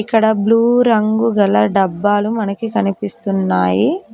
ఇక్కడ బ్లూ రంగు గల డబ్బాలు మనకి కనిపిస్తున్నాయీ.